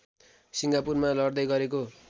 सिङ्गापुरमा लड्दै गरेको